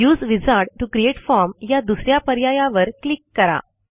use wizard to create form या दुस या पर्यायावर क्लिक करा